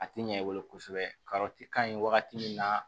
A tɛ ɲɛ i bolo kosɛbɛ ka ɲi wagati min na